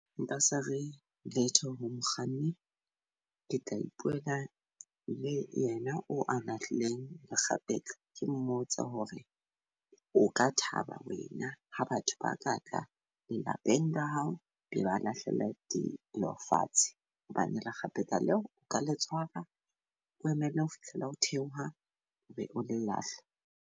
Nka se re letho ho mokganni. Ke tla ipuela le yena o a lahlileng makgapetla. Ke mmotse hore o ka thaba wena ha batho ba katla le lapeng la hao be ba lahlela di lo fatshe. Hobane lekgapetla leo o ka le tshwara, o emele ho fihlela ho theoha, be ole lahla.